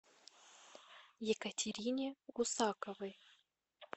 екатерине гусаковой